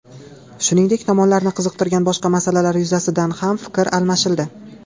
Shuningdek, tomonlarni qiziqtirgan boshqa masalalar yuzasidan ham fikr almashildi.